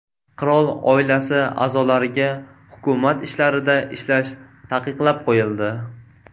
Qirol oilasi a’zolariga hukumat ishlarida ishlash taqiqlab qo‘yildi .